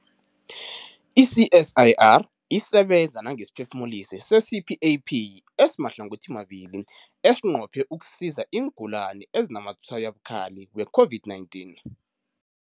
I-CSIR isebenza nangesiphefumulisi se-CPAP esimahlangothimabili esinqophe ukusiza iingulani ezinazamatshwayo abukhali we-COVID-19.